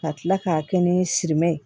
Ka tila k'a kɛ ni simɛ ye